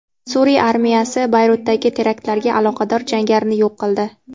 Suriya armiyasi Bayrutdagi teraktlarga aloqador jangarini yo‘q qildi.